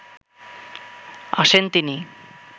আসেন তিনি